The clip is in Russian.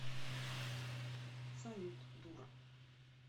салют дура